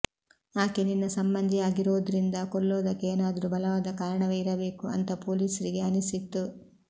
ಆಕೆ ನಿನ್ನ ಸಂಬಂಧಿಯಾಗಿರೋದ್ರಿಂದ ಕೊಲ್ಲೋದಕ್ಕೆ ಏನಾದ್ರೂ ಬಲವಾದ ಕಾರಣವೇ ಇರಬೇಕು ಅಂತ ಪೊಲೀಸ್ರಿಗೆ ಅನಿಸಿತ್ತು